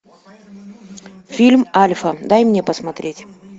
фильм альфа дай мне посмотреть